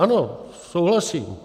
Ano, souhlasím.